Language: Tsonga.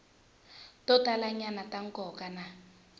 to talanyana ta nkoka na